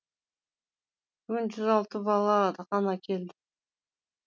бүгін жүз алты бала ғана келді